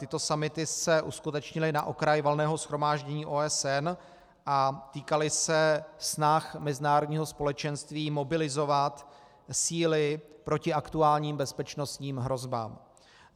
Tyto summity se uskutečnily na okraj Valného shromáždění OSN a týkaly se snah mezinárodního společenství mobilizovat síly proti aktuálním bezpečnostním hrozbám.